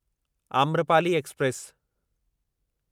Amrapali express